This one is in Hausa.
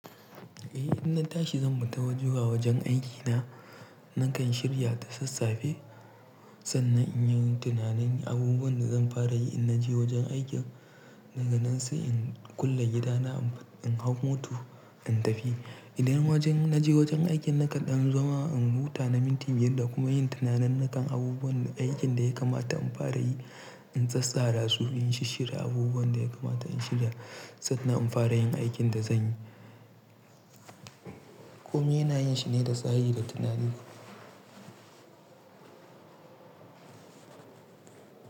Eh, inna tashi zan fita zuwa wajen aikina. Nakan shirya da sassafe sannan in yi tunanin abubuwan da zan fara yi idan na je wajen aikin. Nan da nan sai in kulle gidana, in hau mota in tafi. Idan wajen na je wajen aikin, nakan zama in huta na minti biyar kuma in yi tunanin akan abubuwan da aikin da ya kamata in fara yi, in tsatsara su, in shisshirya abubuwan da ya kamata in shirya sannan in fara yin aikin da zan yi. Komi yana yin shi ne da tsayi da tunani.